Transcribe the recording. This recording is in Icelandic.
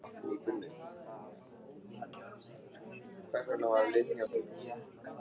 En enginn bauðst til að ná í prest.